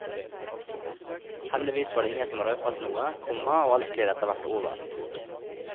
Heldigvis var det ingen som røpet noe, komma og alt gled etterhvert over. punktum